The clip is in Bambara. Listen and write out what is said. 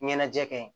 Ɲɛnajɛ kɛ ye